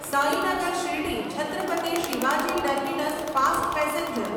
Sainagar Shirdi Chhatrapati Shivaji terminus fast passenger